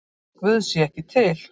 Að Guð sé ekki til?